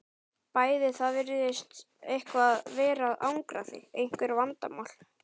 Bæði Það virðist eitthvað vera að angra þig, einhver vandamál?